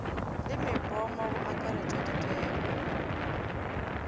le mepomo go akaretpwa dikelo